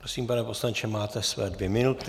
Prosím, pane poslanče, máte své dvě minuty.